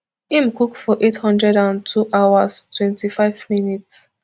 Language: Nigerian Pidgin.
im cook for eight hundred and two hours twenty-five minutes